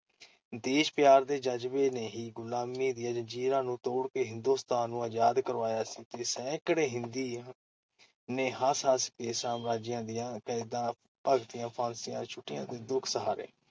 ਦੇਸ਼-ਪਿਆਰ ਦੇ ਜ਼ਜਬੇ ਨੇ ਹੀ ਗ਼ੁਲਾਮੀ ਦੀਆਂ ਜ਼ੰਜੀਰਾਂ ਨੂੰ ਤੋੜ ਕੇ ਹਿੰਦੁਸਤਾਨ ਨੂੰ ਆਜ਼ਾਦ ਕਰਵਾਇਆ ਸੀ ਤੇ ਸੈਂਕੜੇ ਹਿੰਦੀਆਂ ਨੇ ਹੱਸ-ਹੱਸ ਕੇ ਸਾਮਰਾਜੀਆਂ ਦੀਆਂ ਕੈਦਾਂ ਭਗਤੀਆਂ, ਫ਼ਾਸੀਆਂ ਛੁੱਟੀਆਂ ਤੇ ਦੁੱਖ ਸਹਾਰੇ ।